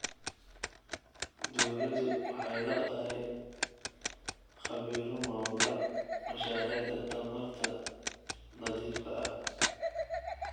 Dawladdu waxay la'dahay khabiiro maamula mashaariicda tamarta nadiifka ah.